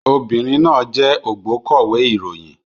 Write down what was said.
Obìnrin náà jẹ́ ògbókọ̀wé ìròyìn